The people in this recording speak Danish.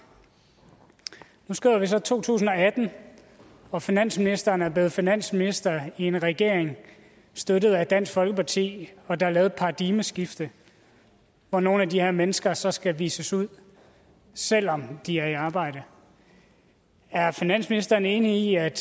nu skriver vi så to tusind og atten og finansministeren er blevet finansminister i en regering støttet af dansk folkeparti og der er lavet et paradigmeskifte hvor nogle af de her mennesker så skal vises ud selv om de er i arbejde er finansministeren enig i at